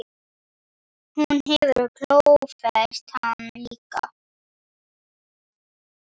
Hún hefur klófest hann líka.